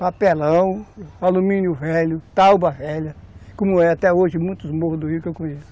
Papelão, alumínio velho, tauba velha, como é até hoje muitos morros do Rio que eu conheço.